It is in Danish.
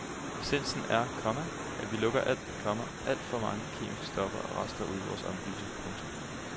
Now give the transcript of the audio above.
Essensen er, komma at vi lukker alt, komma alt for mange kemiske stoffer og rester ud i vores omgivelser. punktum